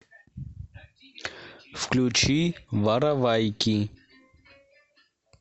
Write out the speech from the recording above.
включи воровайки